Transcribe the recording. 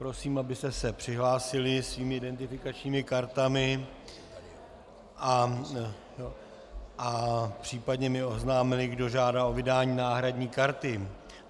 Prosím, abyste se přihlásili svými identifikačními kartami a případně mi oznámili, kdo žádá o vydání náhradní karty.